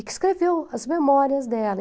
E que escreveu as memórias dela.